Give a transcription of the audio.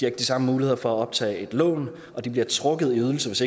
ikke de samme muligheder for at optage et lån og de bliver trukket i ydelse hvis